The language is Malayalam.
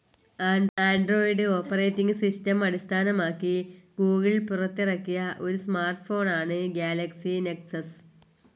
ആൻഡ്രോയിഡ്‌ ഓപ്പറേറ്റിങ്‌ സിസ്റ്റം അടിസ്ഥാനമാക്കി ഗൂഗിൾ പുറത്തിറക്കിയ ഒരു സ്മാർട്ട്‌ ഫോൺ ആണ്‌ ഗാലക്സി നെക്സസ്.